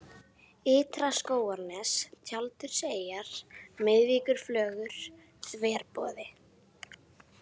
Ytra-Skógarnes, Tjaldurseyjar, Miðvíkurflögur, Þverboði